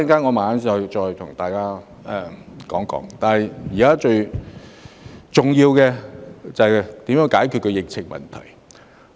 我稍後再與大家談談，但現時最重要的，就是如何遏止疫情。